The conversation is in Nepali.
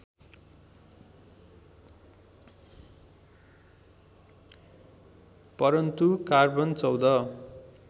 परन्तु कार्बन १४